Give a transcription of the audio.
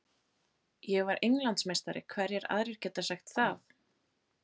Ég var Englandsmeistari, hverjir aðrir geta sagt það?